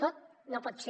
tot no pot ser